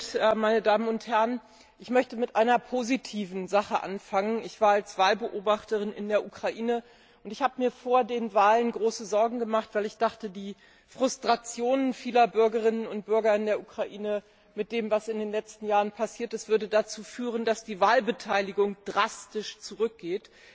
Herr Präsident, meine Damen und Herren! Ich möchte mit einer positiven Sache anfangen. Ich war als Wahlbeobachterin in der Ukraine, und ich habe mir vor den Wahlen große Sorgen gemacht, weil ich dachte, die Frustrationen vieler Bürgerinnen und Bürger in der Ukraine mit dem, was in den letzten Jahren passiert ist, würde dazu führen, dass die Wahlbeteiligung drastisch zurückgeht.